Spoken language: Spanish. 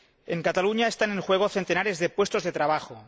En Cataluña, están en juego centenares de puestos de trabajo.